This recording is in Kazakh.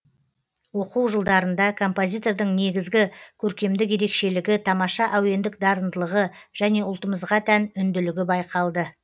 оқу жылдарында композитордың негізгі көркемдік ерекшелігі тамаша әуендік дарындылығы және ұлтымызға тән үнділігі байқалды